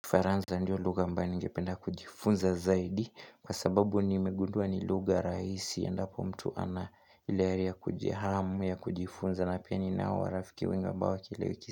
Kifaranza ndio lugha ambayo ningependa kujifunza zaidi kwa sababu nimegundua ni lugha rahisi endapo mtu ana ile ari ya kujihamu ya kujifunza na pia ni nao rafiki wenye ambao kila wiki.